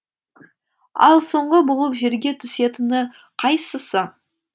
ал соңғы болып жерге түсетіні қайсысы